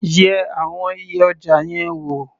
Yẹ àwọn iye ọjà yẹn wò.